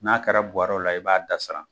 N'a kɛra buwɔrɔw la i b'a dasara.